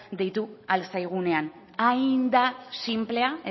deitu ahal zaigunean hain da sinplea